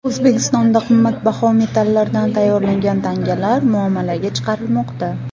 O‘zbekistonda qimmatbaho metallardan tayyorlangan tangalar muomalaga chiqarilmoqda.